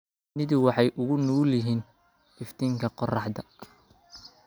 Shinnidu waxay u nugul yihiin iftiinka qorraxda.